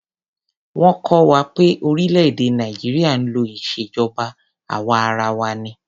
Wọ́n kọ́ wa pé orílè-èdè Nàìjíríà ń lò ìjọba àwa arawa ni.